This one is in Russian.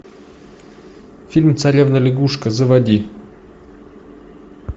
фильм царевна лягушка заводи